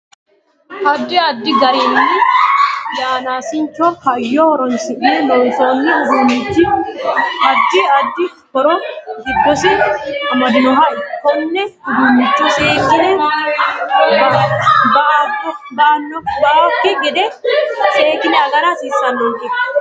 Addi addi garinni yanaasicho hayyo horoonsine loonsooni uduunichi addi addi horo giddosi amadinoho konne uduunicho seekine ba'abokki gede seekine agara hasiisanonke